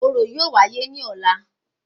Orò yóò wáyé ní ọlá